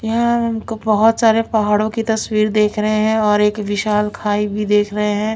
यहा हमको बहुत सारे पहाड़ों की तस्वीर देख रहे है और एक विशाल खाई भी देख रहे है।